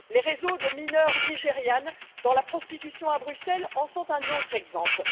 Les réseaux de mineures nigérianes dans la prostitution à Bruxelles en sont un autre exemple.